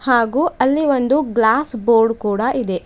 ಹಾಗೂ ಅಲ್ಲಿ ಒಂದು ಗ್ಲಾಸ್ ಬೋರ್ಡ್ ಕೂಡ ಇದೆ.